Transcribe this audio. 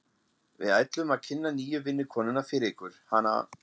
Við ætluðum að kynna nýju vinnukonuna fyrir ykkur, hana